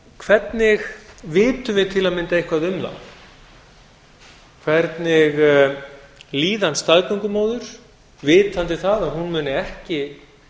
hvernig vitum við til að mynda eitthvað um það hvernig líðan staðgöngumóður vitandi það að hún muni ekki